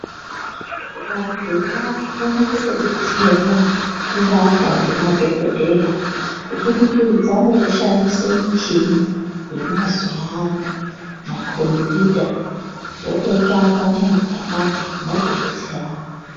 Vantu vakukone kutobetserwa kurapwa ngemadhogodheya. Kubudikidza ngekushandise muchini yemazuva ano, makombiyuta vototsvaka muntu aopapo motobetserana.